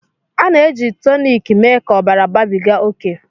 A na-eji toniki mee ka ọbara babiga oke